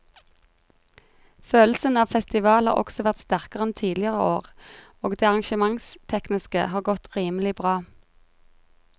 Følelsen av festival har også vært sterkere enn tidligere år og det arrangementstekniske har godt rimelig bra.